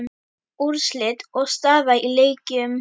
Úrslit og staða í leikjum